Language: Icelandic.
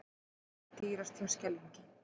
Bensínið dýrast hjá Skeljungi